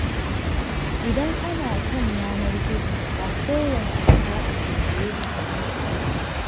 Idan kana kan yanar-gizo ba kowane abu za a tambaye ka ka amsa ba.